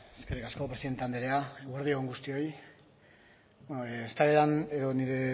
eskerrik asko presidente anderea eguerdi on guztioi eztabaidan edo nire